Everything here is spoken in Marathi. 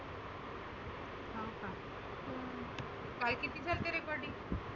काल किती झालती recording?